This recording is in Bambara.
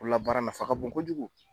Bolo la baara nafa ka bon kojugu.